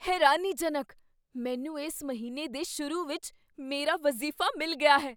ਹੈਰਾਨੀਜਨਕ! ਮੈਨੂੰ ਇਸ ਮਹੀਨੇ ਦੇ ਸ਼ੁਰੂ ਵਿੱਚ ਮੇਰਾ ਵਜ਼ੀਫ਼ਾ ਮਿਲ ਗਿਆ ਹੈ!